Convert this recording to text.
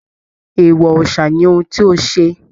Eewọ òòsà ní òun tí o ṣe!